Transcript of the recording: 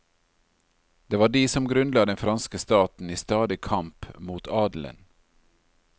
Det var de som grunnla den franske staten, i stadig kamp mot adelen.